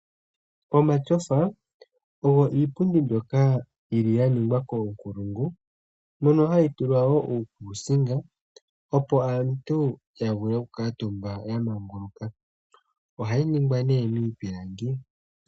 Omatyofa ogo iipundi mbyoka yili ya ningwa koongulungu mono hayi tulwa wo uukusinga opo aantu ya vule oku kuuntumba ya mangaluka ohayi ningwa nee miipilangi.